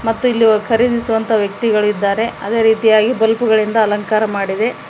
ಮತ್ತು ಇಲ್ಲಿ ವ ಖರೀದಿಸುವಂತ ವ್ಯಕ್ತಿಗಳು ಇದ್ದಾರೆ ಅದೇ ರೀತಿಯಾಗಿ ಬಲ್ಬು ಗಳಿಂದ ಅಲಂಕಾರ ಮಾಡಿದೆ.